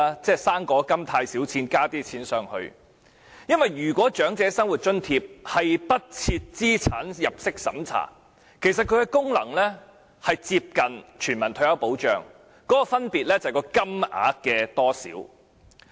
因為"生果金"的金額太少，於是再提供一些額外的金錢，如果長者生活津貼不設資產入息審查，其功能便接近全民退休保障，分別只是金額的多少。